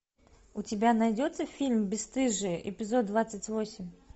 у тебя найдется фильм бесстыжие эпизод двадцать восемь